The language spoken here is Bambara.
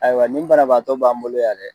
Ayiwa nin bana baatɔ b'an bolo yan dɛ